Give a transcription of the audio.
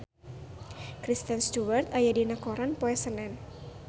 Kristen Stewart aya dina koran poe Senen